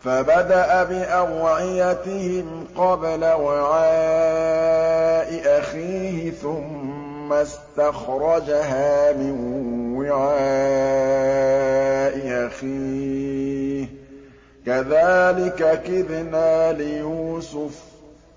فَبَدَأَ بِأَوْعِيَتِهِمْ قَبْلَ وِعَاءِ أَخِيهِ ثُمَّ اسْتَخْرَجَهَا مِن وِعَاءِ أَخِيهِ ۚ كَذَٰلِكَ كِدْنَا لِيُوسُفَ ۖ